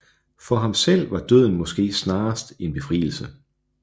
For ham selv var døden måske snarest en befrielse